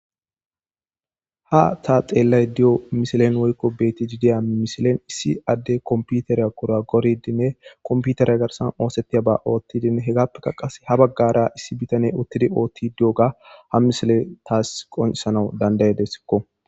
Ha ta xeellay di'o misilen woykko beti iidiya mishilen issi adde kompiuteriya kura goridinne komputerya garsan oosettiya ba oothtidin hegappekka qas ha baggara issi bitane uttidi oothti d'io ga ha misile taas qonsanau dandayedesikko